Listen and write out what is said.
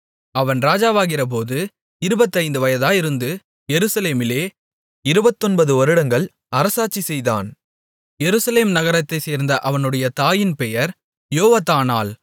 அவன் ராஜாவாகிறபோது இருபத்தைந்து வயதாயிருந்து எருசலேமிலே இருபத்தொன்பது வருடங்கள் அரசாட்சி செய்தான் எருசலேம் நகரத்தைச் சேர்ந்த அவனுடைய தாயின் பெயர் யொவதானாள்